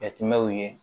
Jateminɛw ye